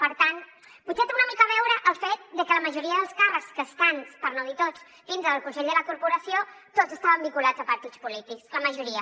per tant potser té una mica a veure el fet de que la majoria dels càrrecs que estan per no dir tots dintre del consell de la corporació tots estaven vinculats a partits polítics la majoria